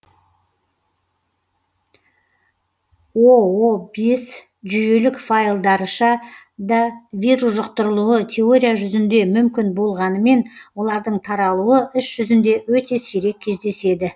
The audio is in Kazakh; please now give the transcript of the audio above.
оо бес жүйелік файлдарьша да вирус жүқтырылуы теория жүзінде мүмкін болғанымен олардың таралуы іс жүзінде өте сирек кездеседі